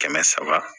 Kɛmɛ saba